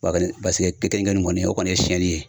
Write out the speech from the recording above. paseke kenige ni kɔni o kɔni ye siyɛnni ye